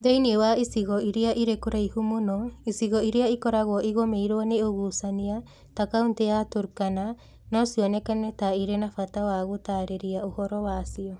Thĩinĩ wa icigo iria irĩ kũraihu mũno, icigo iria ikoragwo igũmĩirũo nĩ ũgucania ta Kaunti ya Turkana no cioneke ta itarĩ na bata wa gũtaarĩria ũhoro wacio.